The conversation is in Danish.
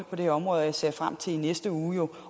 på det her område og jeg ser frem til i næste uge